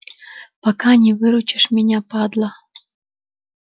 пока не выручишь меня падла